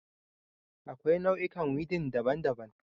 Akwai nau'ikan weeding daban-daban